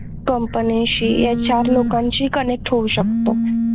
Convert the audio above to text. company शी HR लोकांशी connect होवू शकतो